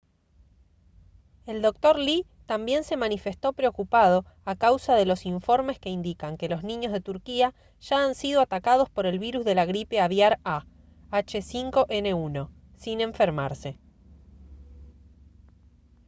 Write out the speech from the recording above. el dr. lee también se manifestó preocupado a causa de los informes que indican que los niños de turquía ya han sido atacados por el virus de la gripe aviar a h5n1 sin enfermarse